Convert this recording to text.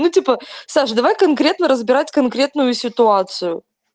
ну типа саш давай конкретно разбирать конкретную ситуацию